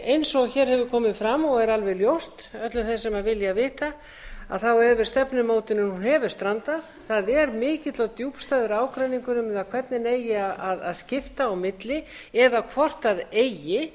eins og hér hefur komið fram og er alveg ljóst öllum þeim sem vilja vita þá hefur stefnumótunin strandað það er mikill og djúpstæður ágreiningur um það hvernig eigi að skipta á milli eða hvort eigi